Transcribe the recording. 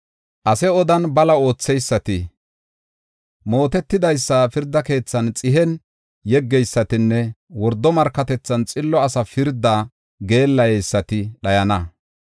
Ase odan bala ootheysati, mootetidaysa pirda keethan xihen yeggeysatinne wordo markatethan xillo asa pirdaa geellayeysati dhayana.